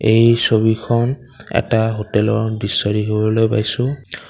এই ছবিখন এটা হোটেলৰ দৃশ্য দেখিবলৈ পাইছোঁ।